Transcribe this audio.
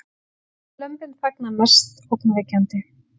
Lömbin þagna mest ógnvekjandi